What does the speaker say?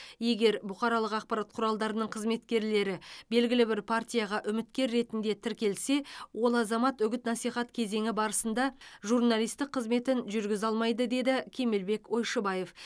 егер бұқаралық ақпарат құралдарының қызметкерлері белгілі бір партияға үміткер ретінде тіркелсе ол азамат үгіт насихат кезеңі барысында журналистік қызметін жүргізе алмайды деді кемелбек ойшыбаев